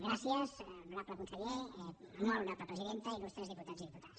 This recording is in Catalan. gràcies honorable conseller molt honorable presidenta il·lustres diputats i diputades